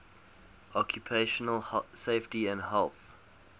occupational safety and health